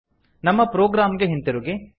ನಮ್ಮ ಪ್ರೊಗ್ರಾಮ್ ಗೆ ಹಿಂತಿರುಗಿ